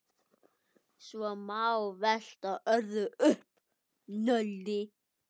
Svo má velta öðru upp.